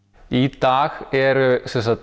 í dag eru